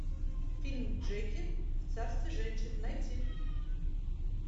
фильм джеки в царстве женщин найти